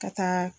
Ka taa